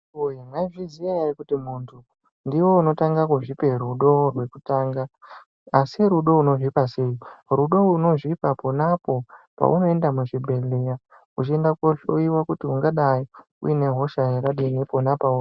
Maizviziya here kuti iwe ndiwe unotanga kuzvioe rudo rwekutanga asi rudo unozvipa sei rudo unozvipa ponapo paunoenda kuzvibhedhlera uchienda kunohloyiwa kuti ungadai uyine hosha yakadini pona pauri.